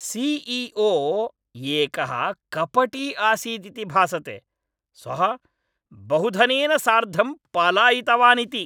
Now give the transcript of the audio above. C E O एकः कपटी आसीदिति भासते, सः बहुधनेन सार्धं पलायितवानिति।